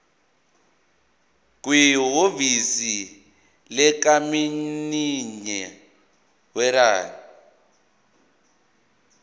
kwihhovisi likamininjela werijini